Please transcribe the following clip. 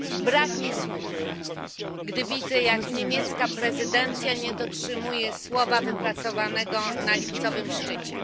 Brak mi słów, gdy widzę, jak niemiecka prezydencja nie dotrzymuje słowa wypracowanego na lipcowym szczycie.